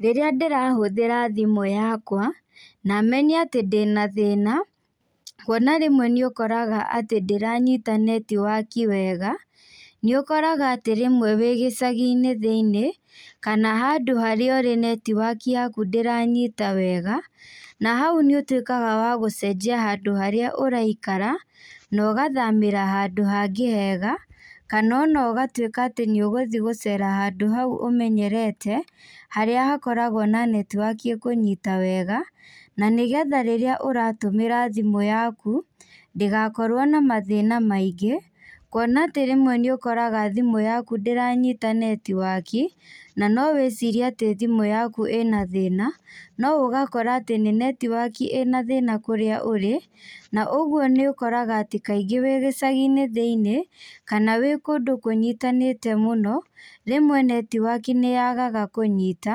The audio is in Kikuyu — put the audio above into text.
Rĩrĩa ndĩrahũthĩra thimũ yakwa na menye atĩ ndĩna thĩna, kuona rĩmwe nĩ ũkoraga atĩ ndĩranyita netiwaki wega, nĩ ũkoraga atĩ rĩmwe wĩ gĩcagi-inĩ thĩinĩ kana handũ harĩa ũrĩ netiwaki yaku ndĩranyita wega, na hau nĩ ũtuĩkaga wa gũcenjia handũ harĩa ũraikara na ũgathamĩra handũ hangĩ hega. Kana ona ũgatuĩka nĩ ũgũthiĩ gũcera handũ hau ũmenyerete harĩa hakoragwo na netiwaki ĩkũnyita wega. Na nĩgetha rĩrĩa ũratũmĩra thimũ yaku ngĩgakorwo na mathĩna maingĩ. Kuona atĩ rĩmwe nĩ ũkoraga thimũ yaku ndĩranyita netiwaki na no wĩcirie atĩ thimũ yaku ĩna mathĩna, no ũgakora atĩ nĩ netiwaki ĩna thĩna kũrĩa ũrĩ. Na ũguo nĩ ũkorag atĩ kaingĩ wĩ gĩcagi-inĩ thĩinĩ kana wĩ kũndũ kũnyitanĩte mũno rĩmwe netiwaki nĩ yagaga kũnyita,